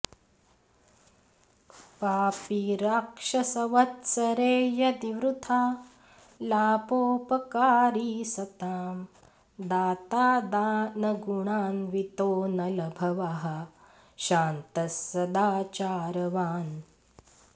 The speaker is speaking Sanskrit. पापी राक्षसवत्सरे यदि वृथालापोऽपकारी सतां दाता दानगुणान्वितोऽनलभवः शान्तः सदाचारवान्